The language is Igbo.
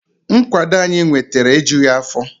Nkwado anyị nwetara ejughi afọ